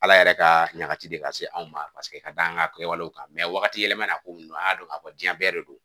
Ala yɛrɛ ka ɲagati de ka se anw ma paseke ka da an ka kɛwalew kan wagati yɛlɛma na a ko ninnu an y'a dɔn k'a fɔ diɲɛ bɛɛ de don